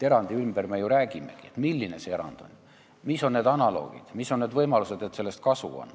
Erandi taotluse korral me ju räägimegi, milline see erand on, mis on analoogid, millised on võimalused, et sellest kasu on.